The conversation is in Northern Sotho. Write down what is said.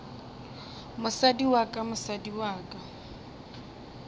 mosadi wa ka mosadi wa